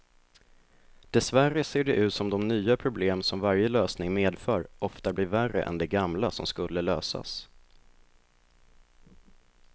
Dessvärre ser det ut som de nya problem som varje lösning medför ofta blir värre än de gamla som skulle lösas.